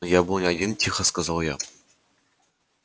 но я был не один тихо сказал я